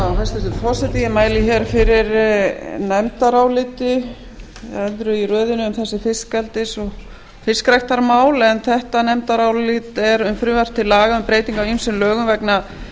hæstvirtur forseti ég mæli fyrir nefndaráliti öðru í röðinni um þessi fiskeldis og fiskræktarmál en þetta nefndarálit er um frumvarp til laga um breytingu á ýmsum lögum vegna